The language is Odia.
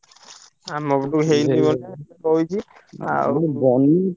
ଆମ ପଟକୁ ହେଇନି ବନ୍ୟା ହେଇଛି ଆଉ